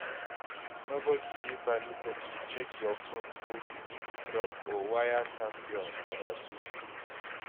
nobody dey permitted to hack your phone or to eavesdrop or waya tap your conversation